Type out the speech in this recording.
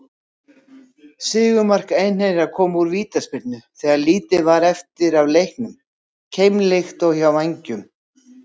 Sigurmark Einherja kom úr vítaspyrnu þegar lítið var eftir af leiknum, keimlíkt og hjá Vængjum.